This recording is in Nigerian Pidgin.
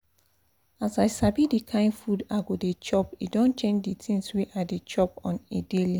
as i sabi the kind food i go dey chop e don change the things wey i dey chop on a daily